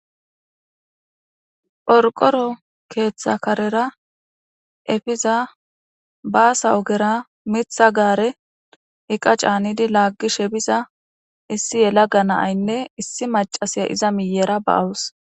Qorqoro keththa karera eppiza bassa oggera miththa gaarey eqqa caanidi lagishe biza issi yelaga na7aynne issi macasiya iza miyera ba7awusu.